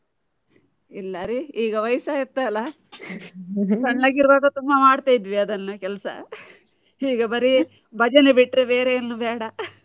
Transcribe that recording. ಇಲ್ಲಾರಿ ಈಗ ವಯಸ್ಸ ಆಯ್ತ್ ಅಲ್ಲ . ಸಣ್ಣದಿರ್ವಾಗ ತುಂಬಾ ಮಾಡ್ತಿದ್ವಿ ಅದನ್ನು ಕೆಲ್ಸ. ಈಗ ಬರಿ ಭಜನೆ ಬಿಟ್ರೆ ಬೇರೆ ಏನು ಬೇಡ.